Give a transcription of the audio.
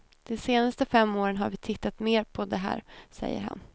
De senaste fem åren har vi tittat mer på det här, säger han.